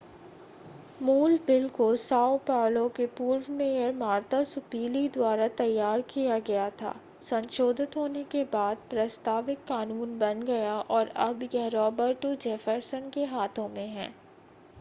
मूल बिल को साओ पाउलो के पूर्व मेयर मार्ता सुपीली द्वारा तैयार किया गया था संशोधित होने के बाद प्रस्तावित कानून बन गया और अब यह रॉबर्टो जेफरसन के हाथों में है